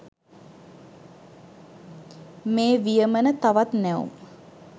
මේ වියමන තවත් නැවුම්.